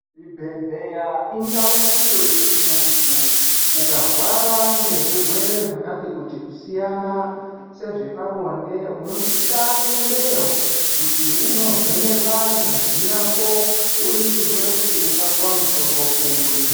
Chibhedhlera indau iyo yekuti muntu ukarwara ngezvirwere zvakati kuti kusiyana sezvepabonde unosisa kuendeyo kuti unovhenekwa ngazi yako uningirwe uoneke kuti ungapiwa mutombo uri .